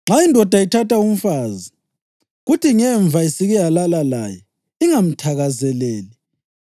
“Nxa indoda ithatha umfazi, kuthi ngemva isike yalala laye, ingamthakazeleli